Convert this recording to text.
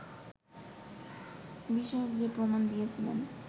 বিষয়ক যে প্রমাণ দিয়েছিলেন